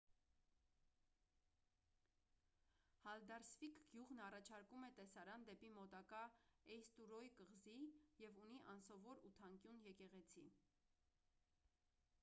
հալդարսվիկ գյուղն առաջարկում է տեսարան դեպի մոտակա էյստուրոյ կղզի և ունի անսովոր ութանկյուն եկեղեցի